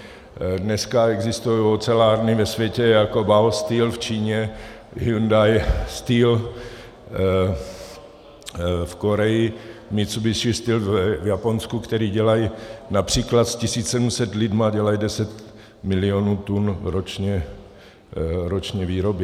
Dneska existují ocelárny ve světě jako Baosteel v Číně, Hyundai Steel v Koreji, Mitsubishi Steel v Japonsku, které dělají například s 1 700 lidmi 10 milionů tun roční výroby.